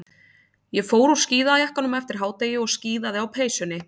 Ég fór úr skíðajakkanum eftir hádegi og skíðaði á peysunni.